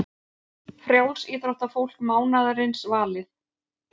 Frjálsíþróttafólk mánaðarins valið